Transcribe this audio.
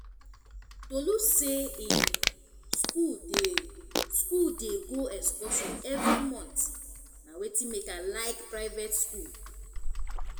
tolu say im school dey school dey go excursion every month na wetin make i like private school